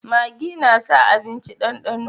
Magi na sa abinci dandano